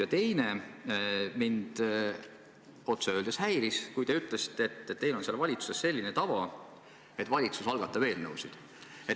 Ja teiseks, mind otse öeldes häiris, kui te ütlesite, et teil on seal valitsuses selline tava, et valitsus algatab eelnõusid.